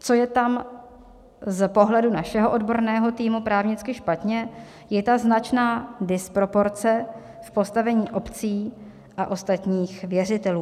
Co je tam z pohledu našeho odborného týmu právnicky špatně je ta značná disproporce v postavení obcí a ostatních věřitelů.